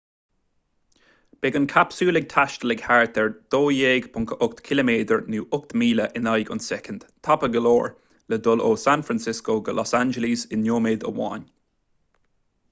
beidh an capsule ag taisteal ag thart ar 12.8 km nó 8 míle in aghaidh an tsoicind tapa go leor le dul ó san francisco go los angeles i nóiméad amháin